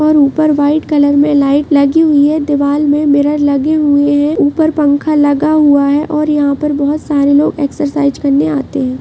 और ऊपर white colour में लाईट लगी हुई हैं दीवार में मिरर लगे हुए हैं ऊपर पंखा लगा हुआ है और यहाॅं पर बोहोत सारे लोग एक्सरसाइज करने आते हैं।